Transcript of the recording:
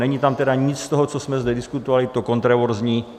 Není tam tedy nic z toho, co jsme zde diskutovali, to kontroverzní.